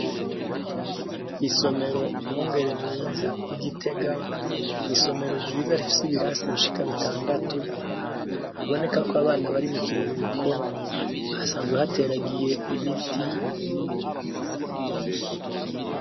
Isomero Mwungere Mwiza ry'igitega, ni isomero ryiza rifise ibirasi bishika bitandatu bibonekako abana bari mu kiruhuko. Hasanzwe hateragiye ibiti.